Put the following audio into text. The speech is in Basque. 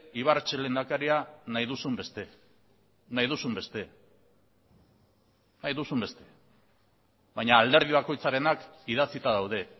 ibarretxe lehendakaria nahi duzun beste baina alderdi bakoitzarenak idatzita daude